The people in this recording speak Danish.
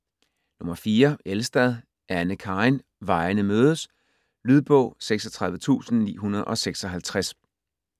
Elstad, Anne Karin: Vejene mødes Lydbog 36956